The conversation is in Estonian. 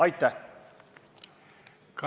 Aitäh!